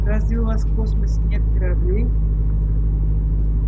разве у вас в космосе нет кораблей